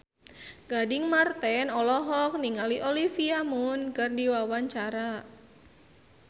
Gading Marten olohok ningali Olivia Munn keur diwawancara